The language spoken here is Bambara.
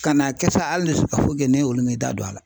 Ka na kɛ sa h an ne se ka foyi kɛ sa nei olu mi'i da don a la